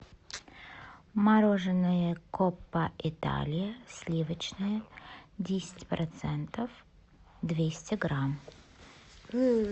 мороженое коппа италия сливочное десять процентов двести грамм